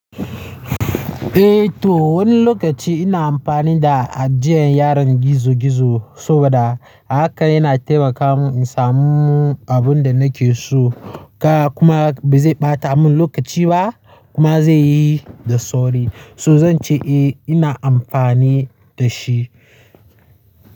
Eh to wani lokaci ina amfani da ajiya a yanar gizo gizo saboda haka yana taimaka mun in samu abun da nake so. Kuma ba zai ɓata mun lokaci ba kuma zai yi da sauri. So zan ce eh ina amfani da shi.